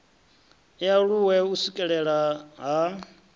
i aluwe u swikelelea ha